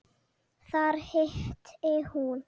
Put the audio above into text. Þar hitti hún